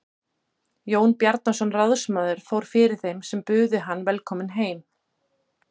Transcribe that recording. Jón Bjarnason ráðsmaður fór fyrir þeim sem buðu hann velkominn heim.